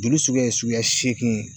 Joli suguya ye suguya seegin ye.